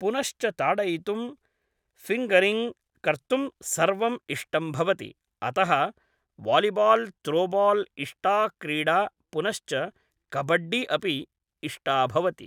पुनश्च ताडयितुं फ़िन्गरिङ्ग् कर्तुं सर्वम् इष्टं भवति अतः वालिबाल् त्रोबाल् इष्टा क्रीडा पुनश्च कबड्डि अपि इष्टा भवति